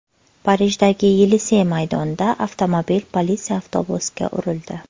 Parijdagi Yelisey maydonida avtomobil politsiya avtobusiga urildi.